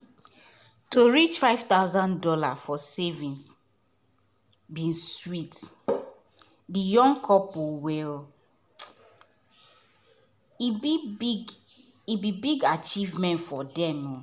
to reach five thousand dollars for savings bin sweet the young couple well um e be big e be big achievement for dem.